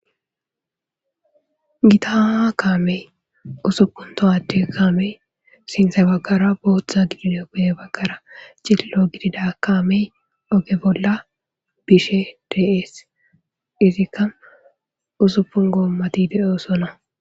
Gita kamadeyi usuppuni tohade kamadeyi sinththa baggara bothu guye bagara cililo gidida kammeyi oge bola bishe desi izikka usuppuni gommati deosoona